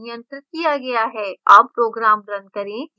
अब program now करें